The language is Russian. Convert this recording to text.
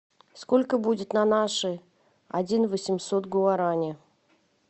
сколько будет на наши один восемьсот гуарани